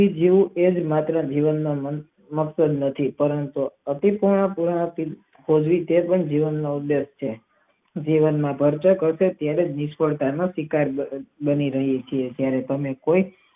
કે જીવું જીવન માં પરંતુ અપિત્ત હોવાથી એ પણ જીવન નો ઉલ્લેખ છે જીવન માં ક્યારેક ભરચક અને ક્યારેક નિસ્ફળતા સ્વીકારવી બની રહી છે ત્યારે તમે કોઈક.